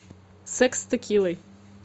секс с текилой